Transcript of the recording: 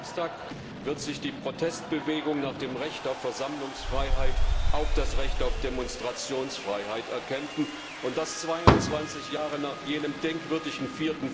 Nächsten Samstag wird sich die Protestbewegung nach dem Recht auf Versammlungsfreiheit auch das Recht auf Demonstrationsfreiheit erkämpfen, und das 22 Jahre nach jenem denkwürdigen